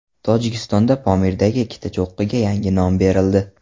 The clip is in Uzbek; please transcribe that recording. Tojikistonda Pomirdagi ikkita cho‘qqiga yangi nom berildi.